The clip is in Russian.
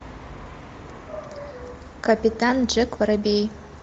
капитан джек воробей